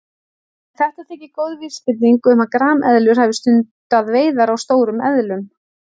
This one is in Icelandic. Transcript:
En þetta þykir góð vísbending um að grameðlur hafi stundað veiðar á stórum eðlum.